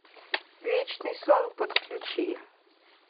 вечный сон подключи